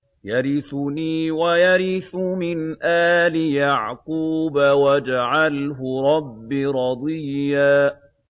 يَرِثُنِي وَيَرِثُ مِنْ آلِ يَعْقُوبَ ۖ وَاجْعَلْهُ رَبِّ رَضِيًّا